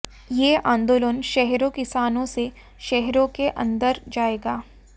ये आंदोलन शहरों किसानों से शहरों के अंदर जाएगा